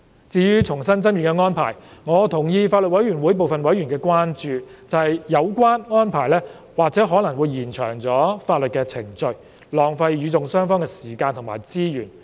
至於重新爭辯的安排，我同意法案委員會部分委員的關注，即有關安排或會延長法律的程序，浪費與訟雙方的時間和資源。